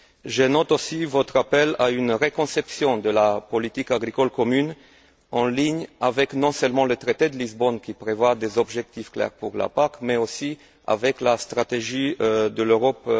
Je note aussi votre appel à une refonte de la politique agricole commune en ligne avec, non seulement, le traité de Lisbonne qui prévoit des objectifs clairs pour la PAC, mais aussi avec la stratégie de l'Europe